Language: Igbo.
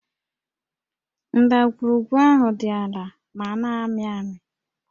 Ndagwurugwu ahụ dị àlà ma na-ámị̀ ámị̀